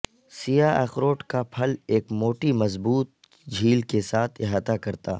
سیاہ اخروٹ کا پھل ایک موٹی مضبوط چھیل کے ساتھ احاطہ کرتا